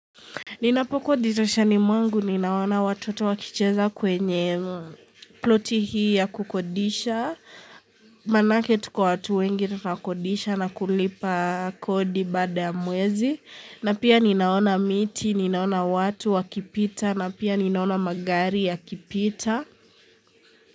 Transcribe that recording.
Ninapokuwa dirishani mwangu, ninaona watoto wakicheza kwenye ploti hii ya kukodisha, manake tuko watu wengi na kukodisha na kulipa kodi baada ya mwezi, na pia ninaona miti, ninaona watu, wakipita, na pia ninaona magari ya kipita.